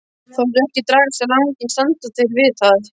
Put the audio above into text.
Þótt verkið dragist á langinn standa þeir við það.